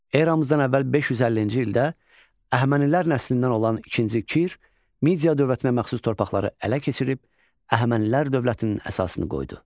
Eramızdan əvvəl 550-ci ildə Əhəmənilər nəslindən olan ikinci Kir Media dövlətinə məxsus torpaqları ələ keçirib Əhəmənilər dövlətinin əsasını qoydu.